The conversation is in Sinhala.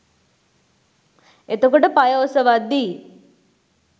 එතකොට පය ඔසවද්දි